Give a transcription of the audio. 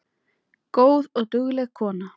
Góð og dugleg kona